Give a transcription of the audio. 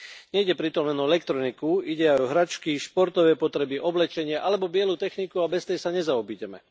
Nejde pritom len o elektroniku, ide aj o hračky, športové potreby, oblečenie alebo bielu techniku, a bez tej sa nezaobídeme.